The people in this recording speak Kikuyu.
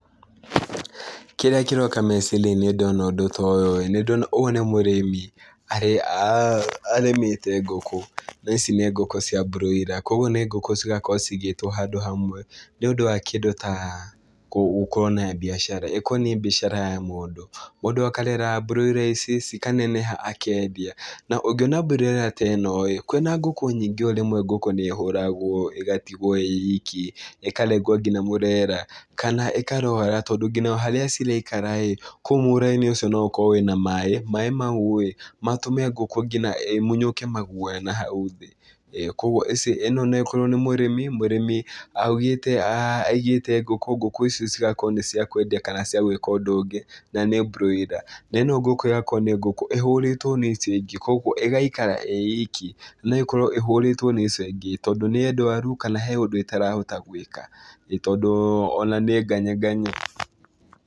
Kĩrĩa kĩroka meciria-inĩ ndona ũndũ ta ũyũ-ĩ, nĩndona ũyũ nĩ mũrĩmi arĩmĩte ngukũ, na ici nĩ ngũkũ cia broiler kuoguo nĩ ngũkũ cigakorwo cigĩtwo handũ hamwe nĩũndũ wa kĩndũ ta gũkorwo na mbiacara, ĩkorwo nĩ mbiacara ya mũndũ. Mũndũ akarera broiler ici, cikaneneha akendia na ũngĩona broiler ta ĩno-ĩ, kwĩna ngũkũ nyingĩ o rĩmwe ngũkũ nĩĩhũragwo ĩgatigwo ĩ iki, ĩkarengwo kinya mũrera kana ĩkarwara tondũ kinya harĩa ciraikara-ĩ, kũu mũra-inĩ ũco no ũkorwo wĩna maĩ, maĩ mau-ĩ matũme ngũkũ kinya ĩmunyũke maguoya na hau thĩ, ĩĩ no ĩkorwo nĩ mũrĩmi, mũrĩmi augĩte aigĩte ngũkũ, ngũkũ ici cigakorwo nĩ cia kwendia kana cia gwĩka ũndũ ũngĩ na nĩ broiler, na ĩno ngũkũ ĩgakorwo nĩ ngũkũ ĩhũrĩtwo nĩ icio ingĩ kuoguo ĩgaikara ĩ iki, no ĩkorwo ĩhũrĩtwo nĩ icio ingĩ tondũ nĩ ndwaru kana he ũndũ ĩtarahota gwĩka, ĩĩ tondũ ona nĩnganyanganye.